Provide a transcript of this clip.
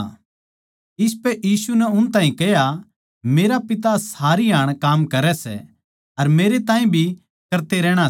इसपै यीशु नै उन ताहीं कह्या मेरा पिता हमेशा काम करै सै अर मेरे ताहीं भी करते रहणा सै